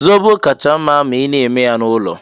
Zobo kacha mma ma a na-eme ya n'ụlọ.